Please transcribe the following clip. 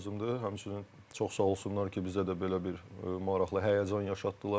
Həmçinin çox sağ olsunlar ki, bizə də belə bir maraqlı həyəcan yaşatdılar.